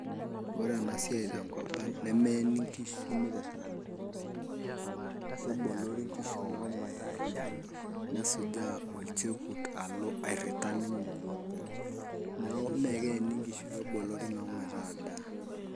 Ore ena siai tenkop ang' nemeeni nkishu mitirring'ata, kebolori nkishu meshomoita aadaa nesujaa olchekut alo airrita ninye openy mee ekeeni nkishu kebolori meshomoita adaa.